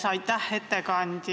Aitäh, ettekandja!